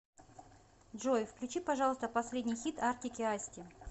джой включи пожалуйста последний хит артик и асти